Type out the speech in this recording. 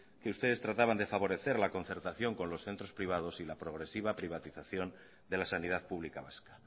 que ustedes trataban de favorecer la concertación con los centros privados y la progresiva privatización de la sanidad pública vasca